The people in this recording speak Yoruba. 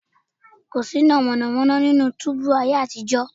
Kò síná mọ̀nàmọ́ná nínú túúbú láyé àtijọ́